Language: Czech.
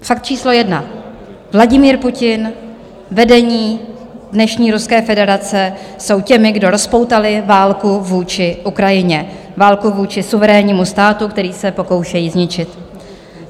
Fakt číslo jedna - Vladimír Putin, vedení dnešní Ruské federace jsou těmi, kdo rozpoutali válku vůči Ukrajině, válku vůči suverénnímu státu, který se pokoušejí zničit.